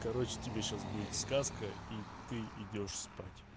короче тебе сейчас будет сказка и ты идёшь спать